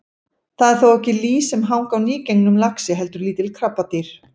Það eru þó ekki lýs sem hanga á nýgengnum laxi heldur lítil krabbadýr.